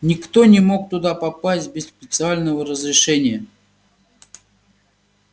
никто не мог туда попасть без специального разрешения